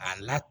A la